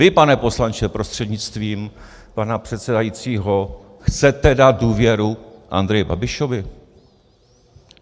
Vy, pane poslanče prostřednictvím pana předsedajícího, chcete dát důvěru Andreji Babišovi?